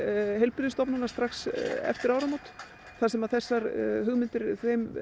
heilbrigðisstofnana strax eftir áramót þar sem þessum hugmyndum